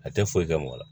A tɛ foyi kɛ mɔgɔ la